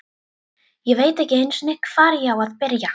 Ég veit ekki einu sinni, hvar ég á að byrja.